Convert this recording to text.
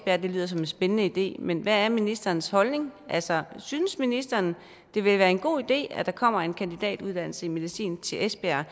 at det lyder som en spændende idé men hvad er ministerens holdning altså synes ministeren det vil være en god idé at der kommer en kandidatuddannelse i medicin til esbjerg